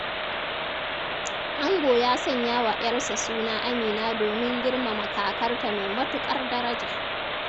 Ango ya sanya wa 'yarsa suna Amina domin girmama kakarta mai matuƙar daraja.